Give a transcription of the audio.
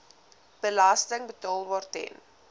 belasting betaalbaar ten